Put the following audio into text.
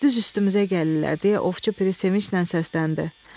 Düz üstümüzə gəlirlər, deyə ovçu piri sevincnən səsləndi.